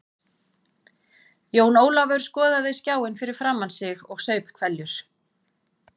Jón Ólafur skoðaði skjáinn fyrir framan sig og saup hveljur.